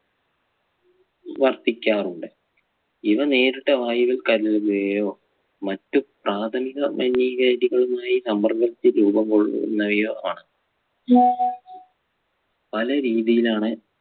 വർത്തിക്കാറുണ്ട് ഇവ നേരിട്ട് വായുവിൽ കലരുകയോ മറ്റ് പ്രാഥമിക മലിനീകാരികളുമായി സമ്മർദ്ദിച്ച് രൂപം കൊള്ളുന്നവയോ ആണ് പല രീതിയിലാണ്